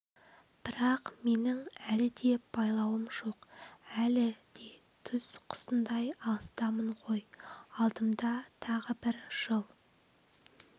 бірақ менің әлі де байлауым жоқ әлі де түз құсындай алыстамын ғой алдымда тағы бір жыл